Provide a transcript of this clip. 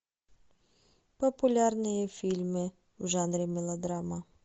популярные фильмы в жанре мелодрама